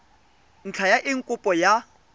ntlha ya eng kopo ya